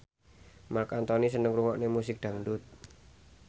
Marc Anthony seneng ngrungokne musik dangdut